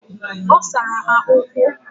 Osara ha ukwu.